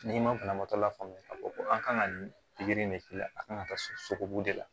N'i ma banabagatɔ lafaamuya ka fɔ ko an kan ka nin pikiri in de k'i la a kan ka taa sogobu de la